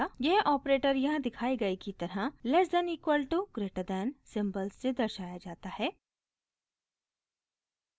यह ऑपरेटर यहाँ दिखाए गए की तरह lesser than equal to greater than symbols से दर्शाया जाता है